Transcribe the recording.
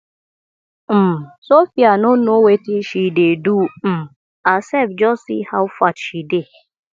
um sophia no know wetin she dey do um herself just see how fat she dey